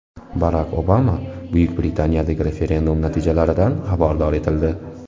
Barak Obama Buyuk Britaniyadagi referendum natijalaridan xabardor etildi.